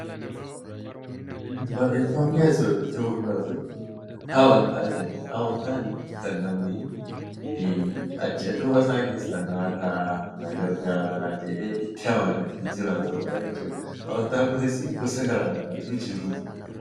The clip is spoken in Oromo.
Barreeffamni asiin olitti mul'atu, amantaa jedha. Amantaan kan namni achii as dhufa isaa keessaa naaf ta'a na gargaaraa jedhee itti amanatee jiraatudha jechuudha. Amantaan kunis gosa garaagaraatu jiru.